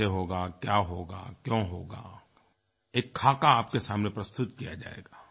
कैसे होगा क्या होगा क्यों होगा एक ख़ाका आपके सामने प्रस्तुत किया जाएगा